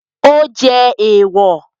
Ó jẹ́ èwọ̀